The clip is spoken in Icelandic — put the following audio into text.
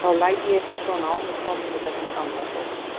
Þá lægi ég ekki svona á mig komin í þessum gamla sófa.